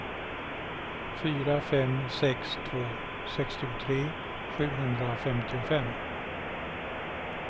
fyra fem sex två sextiotre sjuhundrafemtiofem